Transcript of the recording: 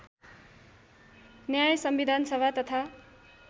न्याय संविधानसभा तथा